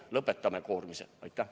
Lõpetame koorimise!